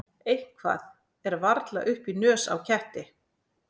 Eitthvað er varla upp í nös á ketti